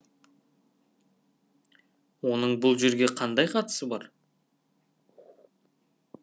оның бұл жерге қандай қатысы бар